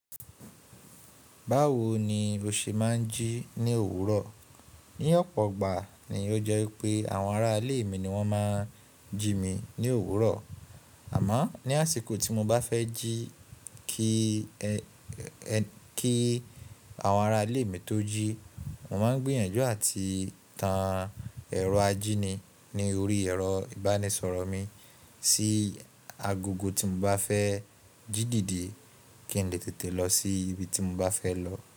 Báwo ni o ṣe máa ń jí ní òwúrọ̀? Ní ọ̀pọ̀ ìgbà ni ó jẹ́ pé àwọn ará ilé mi ni wọ́n máa ń jí mi ní òwúrọ̀. Àmọ́ ní àsìkò tí mo bá fẹ́ jí kí àwọn ará ilé mi tó jí, mo máa ń gbiyànjú àti tan ẹ̀rọ ajíni ní orí ẹ̀rọ ìbánisọ̀rọ̀ mi sí agogo tí mo bá fẹ́ jí dìde kí n lè tètè lọ sí ibi tí mo bá fẹ́ lọ.